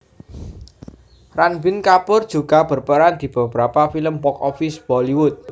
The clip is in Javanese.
Ranbir Kapoor juga berperan di beberapa film box office Bollywood